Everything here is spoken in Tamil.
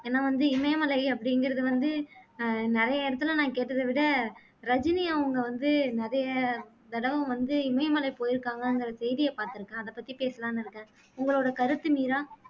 என்ன வந்து இமயமலை அப்படிங்குறது வந்து அஹ் நிறைய இடத்துல நான் கேட்டத விட ரஜினி அவங்க வந்து நிறைய தடவை வந்து இமயமலை போயிருக்காங்கங்குற செய்திய பாத்திருக்கேன் அத பத்தி பேசலான்னு இருக்கேன் உங்களோட கருத்து மீரா